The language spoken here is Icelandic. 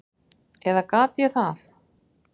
Eða gat ég það?